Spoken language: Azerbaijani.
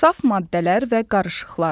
Saf maddələr və qarışıqlar.